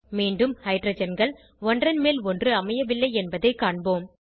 மீண்டும் ஹைட்ரஜன்கள் ஒன்றன்மேல் ஒன்று அமையவில்லை என்பதை காண்போம்